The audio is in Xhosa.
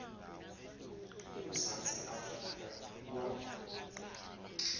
umzantsi afrika kwa